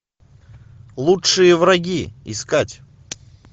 лучшие враги искать